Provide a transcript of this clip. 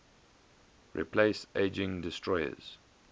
replace aging destroyers